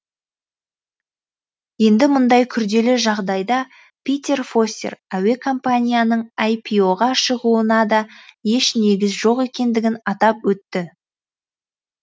енді мұндай күрделі жағдайда питер фостер әуе компанияның іро ға шығуына да еш негіз жоқ екендігін атап өтті